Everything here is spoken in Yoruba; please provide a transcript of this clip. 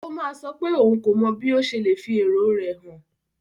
Ó máa sọ pé òun kò mọ bí ó ṣe lè fi èrò rẹ̀ hàn.